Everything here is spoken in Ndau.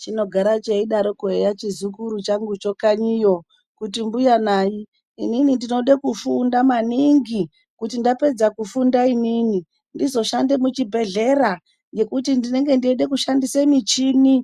Chinogara cheidaroko eya chizukuru changucho kanyiyo kuti mbuya nayi inini ndinode kufunda maningi, kuti ndapedza kufunda inini, ndazoshanda muchibhedhlera, ngekuti ndinenge ndeida kushandise michini.